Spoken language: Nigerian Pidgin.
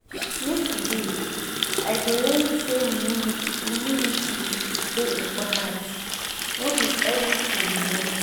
Yesterday, I learn sey humility dey important, no be everytin you know.